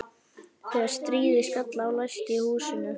Þegar stríðið skall á læsti ég húsinu.